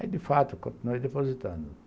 Aí, de fato, continuei depositando.